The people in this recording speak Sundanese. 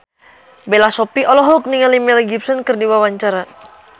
Bella Shofie olohok ningali Mel Gibson keur diwawancara